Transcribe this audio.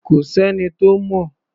Kò s’ẹ́ni tó mọ̀.